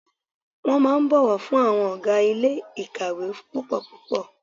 Wọ́n máa ń bọ̀wọ̀ fún àwọn ọ̀gá ilé ìkàwé púpọ̀ púpọ̀.